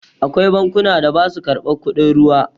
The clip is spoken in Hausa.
Akwai bankunan da basa karɓar kudin ruwa.